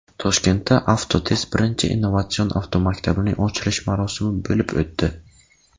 Toshkentda Avtotest birinchi innovatsion avtomaktabining ochilish marosimi bo‘lib o‘tdi.